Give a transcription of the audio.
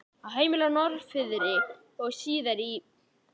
Á heimilið á Norðfirði og síðar í